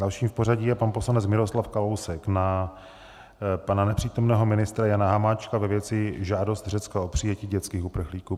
Dalším v pořadí je pan poslanec Miroslav Kalousek na pana nepřítomného ministra Jana Hamáčka ve věci žádosti Řecka o přijetí dětských uprchlíků.